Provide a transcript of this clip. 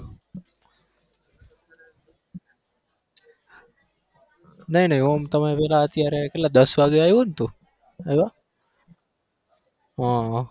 નહીં નહીં આમ તમે પેલે અત્યારે કેટલા દસ વાગે આયો ને તું આયવા હા હા